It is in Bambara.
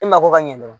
E mako ka ɲɛ dɛ